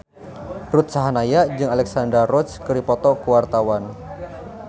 Ruth Sahanaya jeung Alexandra Roach keur dipoto ku wartawan